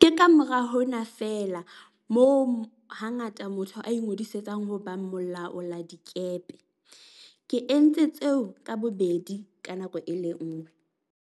Ke kamora hona feela moo hangata motho a ingodisang ho ba molaoladikepe. Ke entse tseo ka bobedi ka nako e le nngwe.